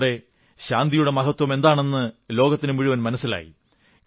ഇതിലൂടെ ശാന്തിയുടെ മഹത്വമെന്താണെന്ന് ലോകത്തിനു മുഴുവൻ മനസ്സിലായി